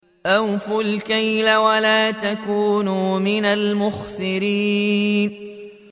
۞ أَوْفُوا الْكَيْلَ وَلَا تَكُونُوا مِنَ الْمُخْسِرِينَ